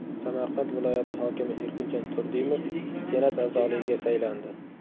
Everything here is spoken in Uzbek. Samarqand viloyati hokimi Erkinjon Turdimov Senat a’zoligiga saylandi.